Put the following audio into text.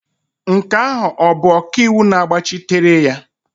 Nke ahụ ọ bụ ọkaiwu na-agbachitere?